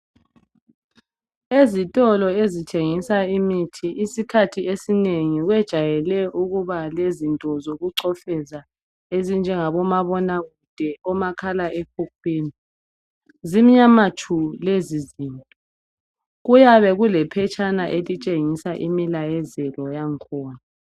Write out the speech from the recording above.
Ezitolo ezithengisa imithi isikhathi esinengi bajwayele ukuba lezinto zokuchofeza ezinjengabomabonakude, omakhalaekhukhwini. Zimnyama tshu lezi zinto kuyabe kulephetshana elitshengisa imilayezelo yangkhona